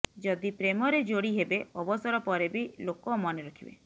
ଯଦି ପ୍ରେମରେ ଯୋଡି ହେବେ ଅବସର ପରେ ବି ଲୋକ ମନେ ରଖିବେ